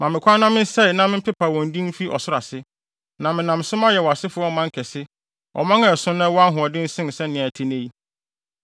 Ma me kwan na mensɛe na mempepa wɔn din mfi ɔsoro ase. Na menam so mayɛ wʼasefo ɔman kɛse; ɔman a ɛso na ɛwɔ ahoɔden sen sɛnea ɛte nnɛ yi.”